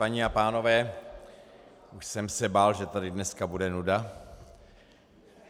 Paní a pánové, už jsem se bál, že tady dneska bude nuda.